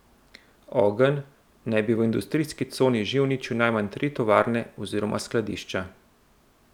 Ogenj naj bi v industrijski coni že uničil najmanj tri tovarne oziroma skladišča.